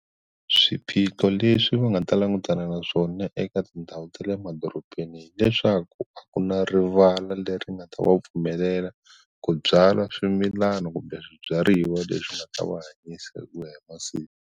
Swiphiqo leswi va nga ta langutana na swona eka tindhawu ta le emadorobeni hileswaku a ku na rivala leri nga ta va pfumelela ku byala swimilana kumbe swibyariwa leswi nga ta va hanyisa hi ku ya hi masiku.